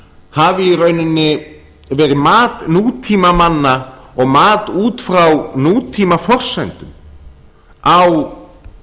hafi í rauninni verið mat nútímamanna og mat út frá nútímaforsendum á